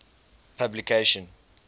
publication